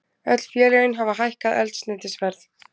Öll félögin hafa hækkað eldsneytisverð